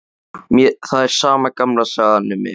Það er sama gamla sagan, um ilm